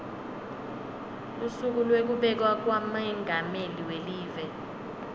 lusuku lwekubekwa kwamengameli welive